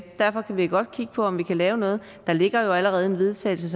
derfor kan vi godt kigge på om vi kan lave noget der ligger jo allerede en vedtagelse